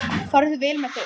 Farðu vel með þau.